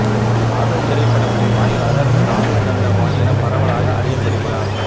காதல் திரைப்படத்தின் வாயிலாக காதல் தண்டபாணி என பரவலாக அறியப்படுகிறார்